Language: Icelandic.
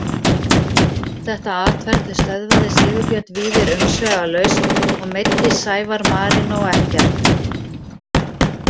Þetta atferli stöðvaði Sigurbjörn Víðir umsvifalaust og „meiddist Sævar Marinó ekkert“